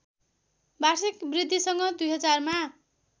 वार्षिक वृद्धिसँग २०००मा